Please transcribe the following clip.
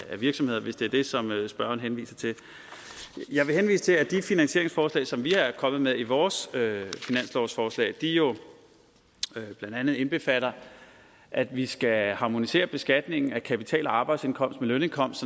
af virksomheder hvis det er det som spørgeren henviser til jeg vil henvise til at de finansieringsforslag som vi er kommet med i vores finanslovsforslag jo blandt andet indbefatter at vi skal harmonisere beskatningen af kapital og arbejdsindkomst med lønindkomst